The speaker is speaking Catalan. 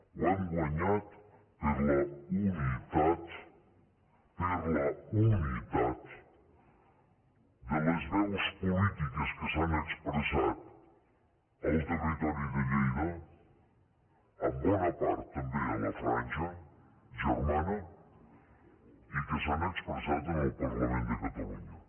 ho hem guanyat per la unitat per la unitat de les veus polítiques que s’han expressat al territori de lleida en bona part també a la franja germana i que s’han expressat en el parlament de catalunya